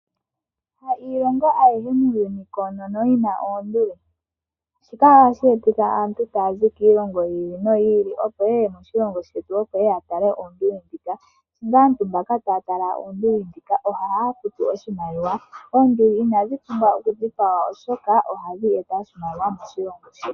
Hailongo ayihe muuyuni koonono yina oonduli, shika ohashi etitha aantu taazi kiilongo yi ili noyi ili opo yeye moshilongo shetu yeye yatale oonduli. Ihe aantu mbaka taya tala oonduli ndhika ohaya futu oshimaliwa. Oonduli inadhi pumbwa okudhipagwa oshoka ohadhi eta oshimaliwa moshilongo shetu.